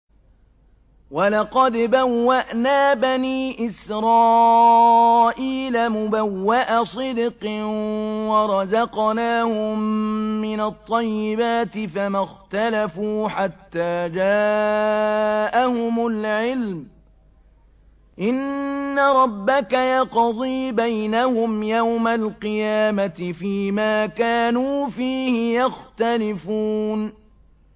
وَلَقَدْ بَوَّأْنَا بَنِي إِسْرَائِيلَ مُبَوَّأَ صِدْقٍ وَرَزَقْنَاهُم مِّنَ الطَّيِّبَاتِ فَمَا اخْتَلَفُوا حَتَّىٰ جَاءَهُمُ الْعِلْمُ ۚ إِنَّ رَبَّكَ يَقْضِي بَيْنَهُمْ يَوْمَ الْقِيَامَةِ فِيمَا كَانُوا فِيهِ يَخْتَلِفُونَ